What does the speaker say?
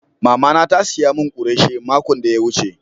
Mama na ta siya mun kureshe makon de ya wuce.